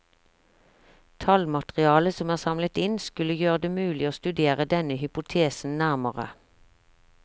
Tallmaterialet som er samlet inn, skulle gjøre det mulig å studere denne hypotesen nærmere.